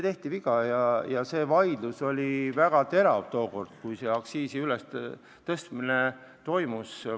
Toona see vaidlus oli väga terav, kui see aktsiisi tõstmine toimus.